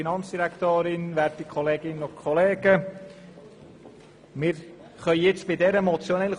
Danach können wir über den Vorfall diskutieren.